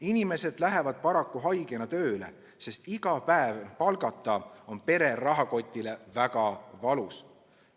Inimesed lähevad paraku haigena tööle, sest iga päev palgata on pere rahakotile väga valus.